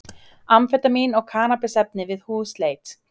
Amfetamín og kannabisefni við húsleit